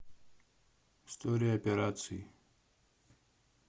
история операций